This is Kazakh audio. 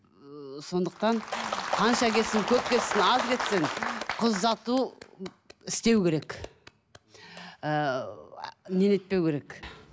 ыыы сондықтан қанша кетсін көп кетсін аз кетсін қыз ұзату істеу керек ыыы не керек